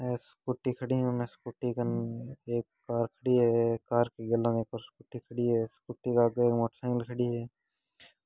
ऐ Scooty खड़ी उमे Scooty कन एक कार खड़ी है कार की गैलान में स्कूटी खड़ी है स्कूटी के आगे एक मोटरसाइकिल खड़ी है।